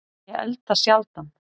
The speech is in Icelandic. Ég elda sjaldan